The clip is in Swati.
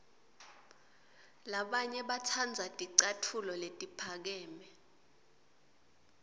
labanye batsandza ticatfulo letiphakeme